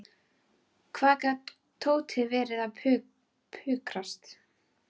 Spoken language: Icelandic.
Hvað gat Tóti verið að pukrast?